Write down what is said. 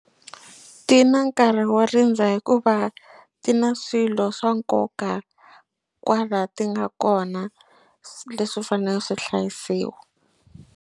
Ti na nkarhi wo rindza hikuva ti na swilo swa nkoka kwala ti nga kona leswi faneleke swi hlayisiwa.